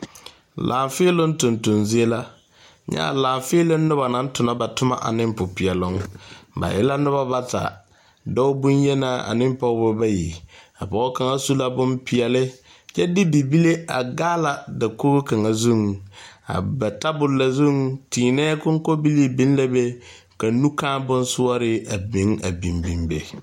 Laafeeloŋ tonton zie la, nyɛ a laaƒeeloŋ noba naŋ tona ba Toma ane popeɛloŋ ba e la noba bata, dɔɔ bonyenaa an pɔgeba bayi, a pɔge kaŋa su la bon peɛlle kyɛ de bibile a gaala dakogi kaŋa zuŋ a ba tabol na zu tiinɛ konkobili biŋ la be ka nu kaa bon sɔre meŋ a biŋ biŋ be.